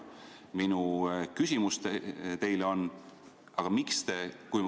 Minu küsimus teile on selline.